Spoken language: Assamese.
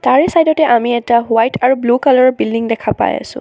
গাড়ীৰ চাইড তে আমি এটা হোৱাইট আৰু ব্লু কালাৰ ৰ বিল্ডিং দেখা পাই আছোঁ।